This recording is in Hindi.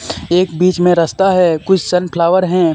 एक बिच मे रस्ता है कुछ सन फ्लावर हैं.